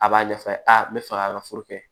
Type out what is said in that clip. A b'a ɲɛfɔ a ye a bɛ fɛ ka furu kɛ